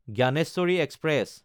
Gyaneshwari express